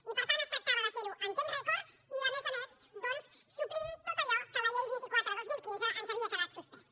i per tant es tractava de fer ho en temps rècord i a més a més doncs suplint tot allò que amb la llei vint quatre dos mil quinze ens havia quedat suspès